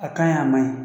A ka ɲi a ma ɲi